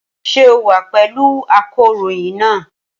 Ṣé o wà pẹ̀lú akọ̀ròyìn náà?